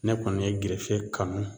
Ne kɔni ye gerefe kanu